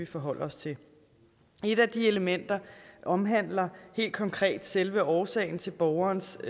forholde os til et af de elementer omhandler helt konkret selve årsagen til borgerens